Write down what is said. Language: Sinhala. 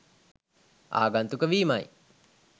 ආගන්තුක වීමයි.